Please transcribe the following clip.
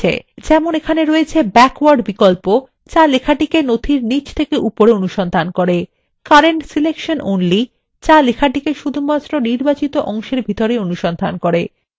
যেমন এখানে রয়েছে backward বিকল্প যা লেখাটিকে নথির নীচ থেকে উপরে অনুসন্ধান করে current selection only যা লেখাটিকে শুধু নির্বাচিত অংশের ভিতরেই অনুসন্ধান করে